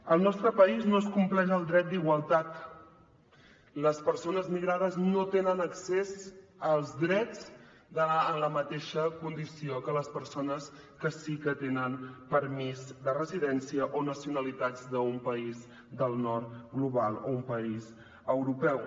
al nostre país no es compleix el dret d’igualtat les persones migrades no tenen accés als drets en la mateixa condició que les persones que sí que tenen permís de residència o nacionalitats d’un país del nord global o un país europeu